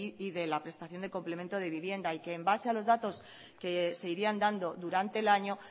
y de la prestación de complemento de vivienda y que en base a los datos que se irían dando durante el año